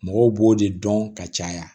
Mɔgɔw b'o de dɔn ka caya